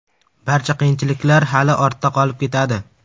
Barcha qiyinchiliklar hali ortda qolib ketadi.